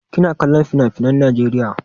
Kina kollon finafinan Najeriya?